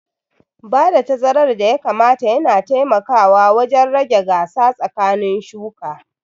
Bada tazarar da ya kamata yana taimakawa wajen rage gasa tsakanin shuka